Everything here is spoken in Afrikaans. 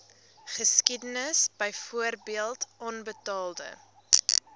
geskiedenis byvoorbeeld onbetaalde